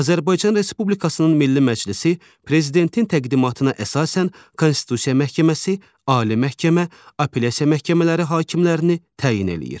Azərbaycan Respublikasının Milli Məclisi Prezidentin təqdimatına əsasən Konstitusiya Məhkəməsi, Ali Məhkəmə, Apellyasiya Məhkəmələri hakimlərini təyin eləyir.